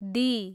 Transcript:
D